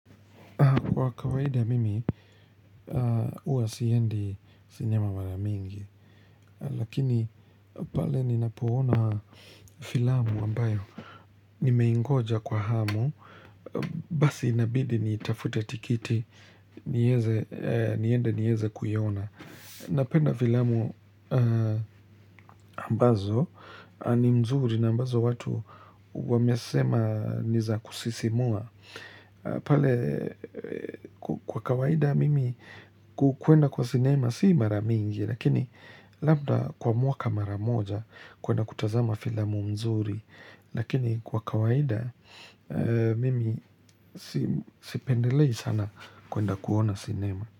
Kwa kawaida mimi, huwa siendi sinema mara mingi. Lakini, pale ninapoona filamu ambayo. Nimeingoja kwa hamu, basi inabidi nitafute tikiti, nieze, niende nieze kuiona. Napenda filamu ambazo, ni mzuri na ambazo watu wamesema ni za kusisimua. Kwa kawaida mimi kuenda kwa sinema si mara mingi, Lakini labda kwa mwaka mara moja kuenda kutazama filamu mzuri Lakini kwa kawaida mimi sipendelei sana kuenda kuona sinema.